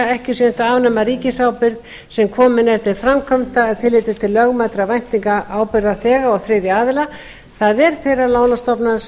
ekki sé unnt að afnema ríkisábyrgð sem komin er til framkvæmda með tilliti til lögmætra væntinga ábyrgðarþega og þriðja aðila það er þeirrar lánastofnunar sem